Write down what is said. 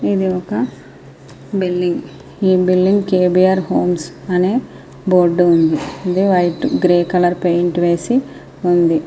ఇది ఒక బిల్డింగ్ . ఈ బిల్డింగు కేబీఆర్ ఫంక్షన్ అనే బోర్డు ఉంది. గ్రే కలర్ పెయింట్ వేసి కలర్ వేసి ఉంది.